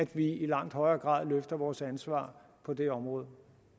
vi i langt højere grad løfter vores ansvar på det område